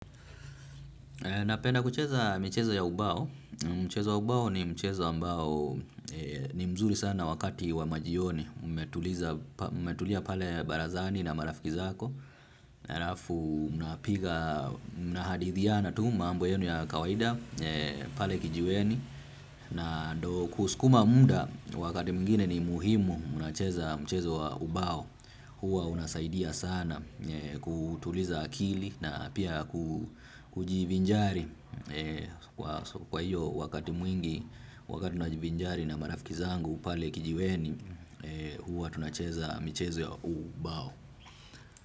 Napenda kucheza michezo ya ubao, mcheza wa ubao ni mchezo ambao ni mzuri sana wakati wa majioni, umetulia pale barazani na marafiki zako, na alafu mhadithiana tu maambo yenu ya kawaida, pale kijiweni. Na ndo kuskuma muda wakati mwingine ni muhimu unacheza mchezo wa ubao. Huwa unasaidia sana kutuliza akili na pia kujivinjari. Kwa hiyo wakati mwingi wakati najivinjari na marafiki zangu pale kijiweni. Huwa tunacheza mchezo wa ubao.